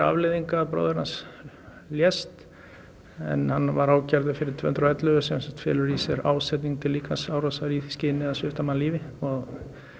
afleiðingar að bróðir hans lést en hann var ákærður fyrir tvö hundruð og ellefu sem felur í sér ásetning til líkamsárásar í því skyni að svipta mann lífi og